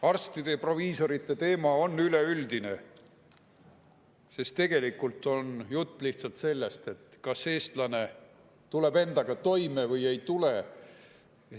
Arstide ja proviisorite teema on üleüldine, sest tegelikult on jutt lihtsalt sellest, kas eestlane tuleb endaga toime või ei tule.